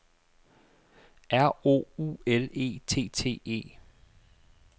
R O U L E T T E